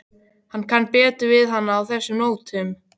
Hann kann betur við hana á þessum nótum.